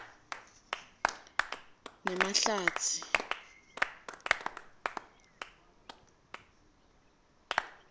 nemahlatsi